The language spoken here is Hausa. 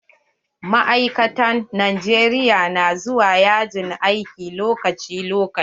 Ma'aikatan Najeriya na zuwa yajin aiki lokaci lokaci.